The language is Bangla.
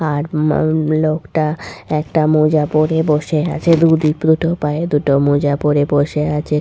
আর মা লোকটা একটা মোজা পড়ে বসে আছে দুদিক দুটো পায়ে দুটো মোজা পড়ে বসে আছে।